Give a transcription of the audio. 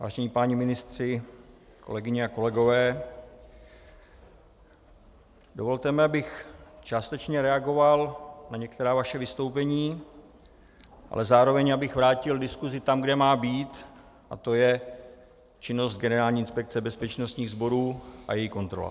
Vážení páni ministři, kolegyně a kolegové, dovolte mi, abych částečně reagoval na některá vaše vystoupení, ale zároveň abych vrátil diskusi tam, kde má být, a to je činnost Generální inspekce bezpečnostních sborů a její kontrola.